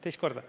Teist korda.